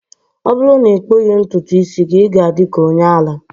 ọ bụrụ na ị kpụghị ntutu isi gị, ị ga-adị ka onye ara